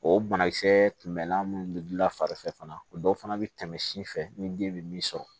O banakisɛ tun bɛlan minnu bɛ gilan fari fɛ fana o dɔw fana bɛ tɛmɛ si fɛ ni den bɛ min sɔrɔ